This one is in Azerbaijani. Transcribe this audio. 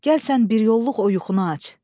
Gəl sən bir yolluq o yuxunu aç.